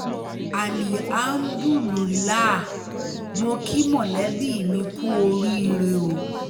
alihámúdùlùilàá mọ̀ kí mọ̀lẹ́bí mi kú oríire o